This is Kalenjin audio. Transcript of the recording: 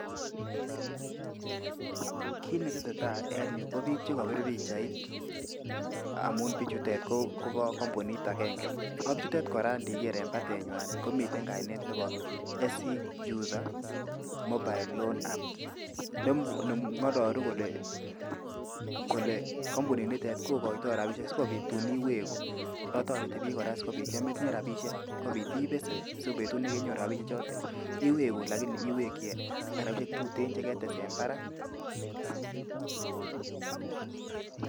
Kit netetai en yu ko biik che kobir pichait amun bichutet kopo kambunit agenge. Ak bichutet kora ngiger en batennywan komiten kainet nebo SC juza mobile loan app ne ng'alalu kole kampunit nitet kogoitoo rabishek si tun iwegu. Ak toreti biik kora sikobit yametinye robishek kobit ibesen si betut nekenyoru robishe joto iwegu lakini iwekyi rabishek tuten je ketes en barak.